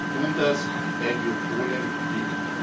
Wir tun das, weil wir Polen lieben.